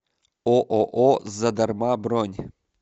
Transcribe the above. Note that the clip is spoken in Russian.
ооо задарма бронь